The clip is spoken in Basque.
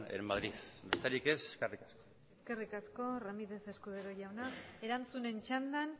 en madrid besterik ez eskerrik asko eskerrik asko ramirez escudero jauna erantzunen txandan